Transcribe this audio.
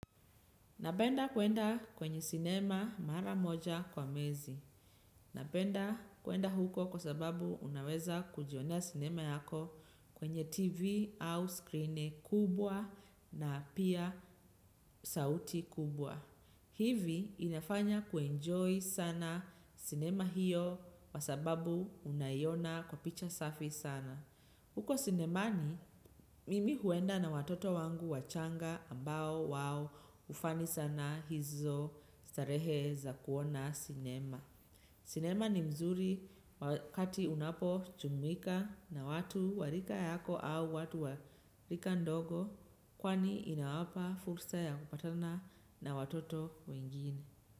Napenda kuenda kwenye sinema mara moja kwa mwezi. Napenda kwenda huko kwa sababu unaweza kujionea sinema yako kwenye TV au screen kubwa na pia sauti kubwa. Hivi inafanya kuenjoy sana sinema hiyo kwa sababu unaiona kwa picha safi sana. Huko sinemani, mimi huenda na watoto wangu wachanga ambao wao ufani sana hizo starehe za kuona sinema. Sinema ni mzuri wakati unapo chumuika na watu wa rika yako au watu wa rika ndogo kwani inawapa fursa ya kupatana na watoto wengine.